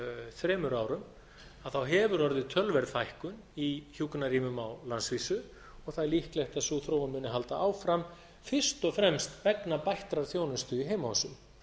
þremur árum hefur orðið töluverð fækkun í hjúkrunarrýmum á landsvísu og það er líklegt að sú þróun muni halda áfram fyrst og fremst vegna bættrar þjónustu í heimahúsum